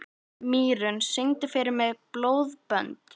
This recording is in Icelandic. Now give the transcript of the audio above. Mýrún, syngdu fyrir mig „Blóðbönd“.